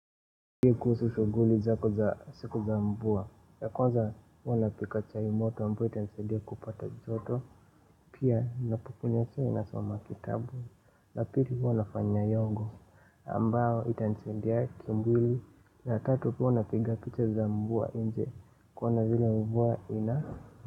Kuhusu shughuli zako za siku za mvua, ya kwanza huwa napika chai moto ambayo itansidia kupata joto pia napo kunywa chai nasoma kitabu na pili huwa nafanya yogo ambayo itanisadia kimwili na tatu huwa napiga picha za mvua nje kuona vile mvua ina.